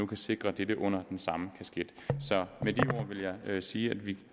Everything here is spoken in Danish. kan sikre dette under den samme kasket så med de ord vil jeg sige at vi